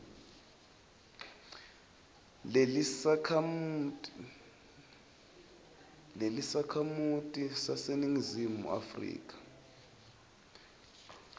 lelisakhamuti saseningizimu afrika